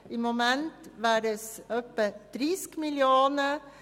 Im Moment wären es etwa 30 Mio. Franken.